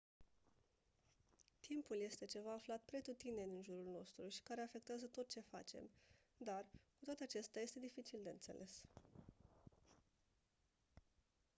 timpul este ceva aflat pretutindeni în jurul nostru și care afectează tot ce facem dar cu toate acestea este dificil de înțeles